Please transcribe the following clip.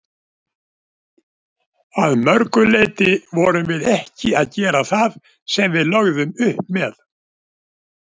Að mörgu leiti vorum við ekki að gera það sem við lögðum upp með.